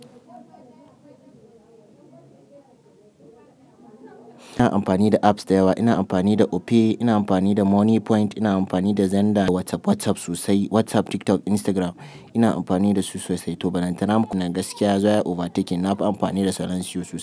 Ina amfani da apps da yawa. Ina amfani da Opay, ina amfani da Money Point, ina amfani da Zenda, WhatsApp, WhatsApp sosai, WhatsApp, TikTok, Instagram ina amfani da su sosai. To bananta na nan gaskiya ya zo ya yi over taken na fi amfani da Salansiyo sosai.